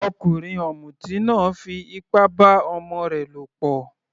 Ọkùnrin ọ̀mùtí náà fí ipá bá ọmọ rẹ lọ̀pọ̀.